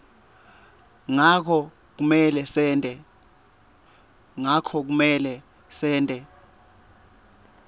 ngako kumele sente